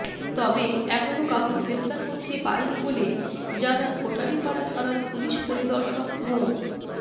তবে এখনো কাউকে গ্রেফতার করতে পারেনি বলে জানান কোটালিপাড়া থানার পুলিশ পরিদর্শক মো